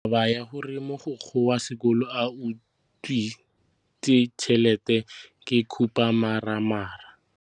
Taba ya gore mogokgo wa sekolo o utswitse tšhelete ke khupamarama.